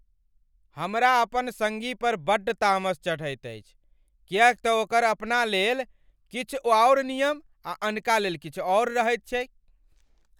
हमरा अपन सङ्गी पर बड़ तामस चढ़ैत अछि किएक तँ ओकर अपनालेल किछु आओर नियम आ अनका लेल किछु आओर रहैत छैक।